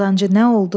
Qazancı nə oldu?